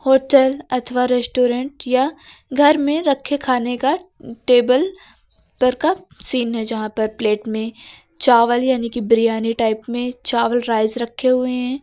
Hotel अथवा restaurant या घर में रखे खाने का टेबल पर का सीन है जहां पर प्लेट में चावल यानी की बिरयानी टाइप में चावल राइस रखे हुए हैं।